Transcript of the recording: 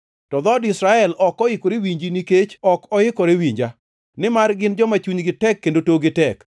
To dhood Israel ok oikore winji nikech ok oikore winja, nimar gin joma chunygi tek kendo tokgi tek.